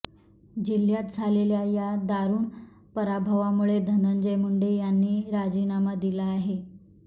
जिल्ह्यात झालेल्या या दारुण पराभवामुळे धनंजय मुंडे यांनी राजीनामा दिला आहे